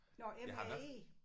Nåh M A E